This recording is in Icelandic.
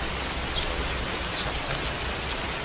Svæfum við í sama herbergi?